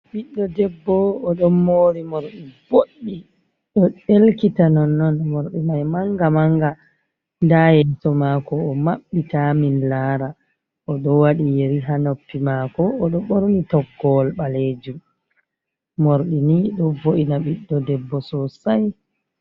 Ɓiɗdo debbo o ɗon mori morɗi boɗɗi ɗo ɗelkita non non, morɗi mai manga manga, nda yeeso mako o maɓɓi ta min lara oɗo waɗi yeri ha noppi mako, oɗo ɓorni toggowol ɓalejum, morɗi ni ɗo vo’ina ɓiɗɗo debbo sosai.